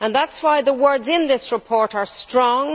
That is why the words in this report are strong.